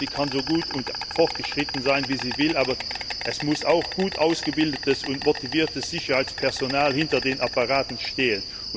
Sie kann so gut und fortschrittlich sein, wie sie will, aber es muss auch gut ausgebildetes und motiviertes Sicherheitspersonal hinter den Apparaten stehen.